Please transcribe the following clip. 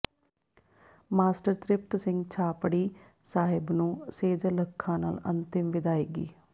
master Tripat Singh Chhapri Sahib ਨੂੰ ਸੇਜਲ ਅੱਖਾਂ ਨਾਲ ਅੰਤਿਮ ਵਿਦਾਇਗੀ